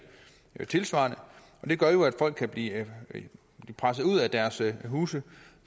tilsvarende det gør jo at folk kan blive presset ud af deres huse